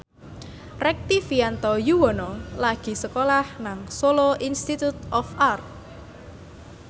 Rektivianto Yoewono lagi sekolah nang Solo Institute of Art